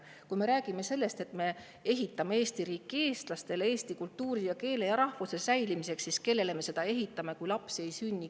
Kui me räägime sellest, et me ehitame Eesti riiki eestlastele, eesti kultuuri, keele ja rahvuse säilimiseks, siis kellele me seda ehitame, kui lapsi ei sünni?